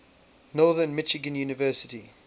northern michigan university